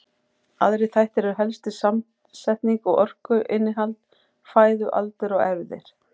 Aðrir þættir eru helstir samsetning og orkuinnihald fæðu, aldur og erfðir.